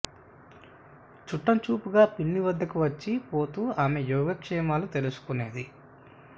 చుట్టంచూపుగా పిన్ని వద్దకు వచ్చి పోతూ ఆమె యోగ క్షేమాలు తెలుసుకునేది